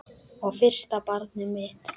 Og fyrsta barnið mitt.